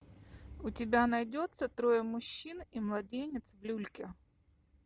у тебя найдется трое мужчин и младенец в люльке